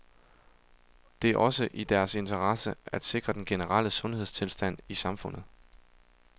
Det er også i deres interesse at sikre den generelle sundhedstilstand i samfundet.